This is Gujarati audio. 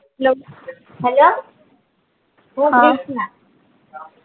નમ હલો હું ક્રિશ્ના